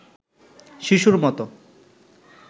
শিশুর মতো